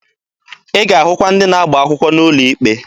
Ị ga-ahụkwa ndị na-agba akwụkwọ n'ụlọ ikpe.